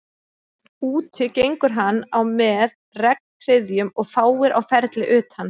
Úti gengur hann á með regnhryðjum og fáir á ferli utan